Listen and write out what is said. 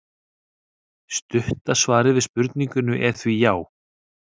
Stutta svarið við spurningunni er því já!